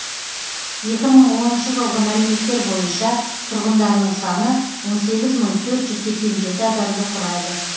екі мың оныншы жылғы мәліметтер бойынша тұрғындарының саны он сегіз мың төрт жүз сексен жеті адамды құрайды